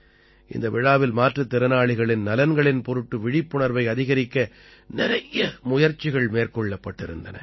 இந்த விழாவில் மாற்றுத் திறனாளிகளின் நலன்களின் பொருட்டு விழிப்புணர்வை அதிகரிக்க நிறைய முயற்சிகள் மேற்கொள்ளப்பட்டிருந்தன